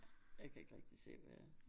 Jeg kan ikke rigtig se hvad